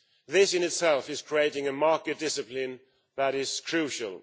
This in itself is creating a market discipline that is crucial.